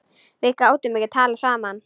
Við gátum ekki talað saman.